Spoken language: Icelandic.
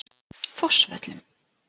Fossvöllum